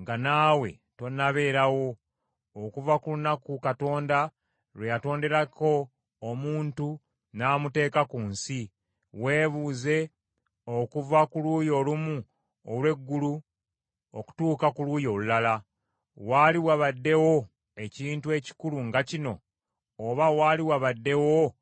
nga naawe tonnabeerawo, okuva ku lunaku Katonda lwe yatonderako omuntu n’amuteeka ku nsi; weebuuze okuva ku luuyi olumu olw’eggulu okutuuka ku luuyi olulala. Waali wabaddewo ekintu ekikulu nga kino, oba waali wabaddewo akiwulirako?